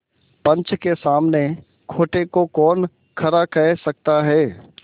पंच के सामने खोटे को कौन खरा कह सकता है